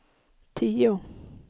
tio